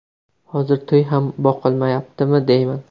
Hozir to‘y ham boqolmayaptimi deyman.